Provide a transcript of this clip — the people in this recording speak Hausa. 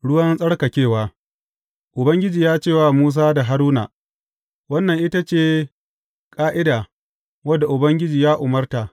Ruwan tsarkakewa Ubangiji ya ce wa Musa da Haruna, Wannan ita ce ƙa’ida wadda Ubangiji ya umarta.